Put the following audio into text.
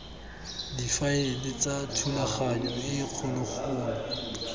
difaele tsa thulaganyo e kgologolo